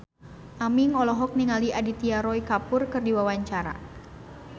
Aming olohok ningali Aditya Roy Kapoor keur diwawancara